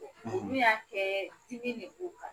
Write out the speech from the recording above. Ne y'a kɛ dimi de b'u kan